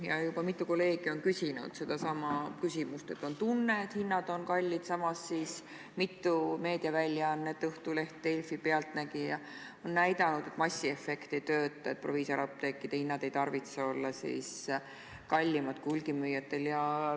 Ja juba mitu kolleegi on küsinud sedasama, et on tunne, et hinnad on kallid, samas mitu meediaväljaannet – Õhtuleht, Delfi, "Pealtnägija" on – näidanud, et massiefekt ei tööta, et proviisoriapteekide hinnad ei tarvitse olla kallimad kui hulgimüüjatel.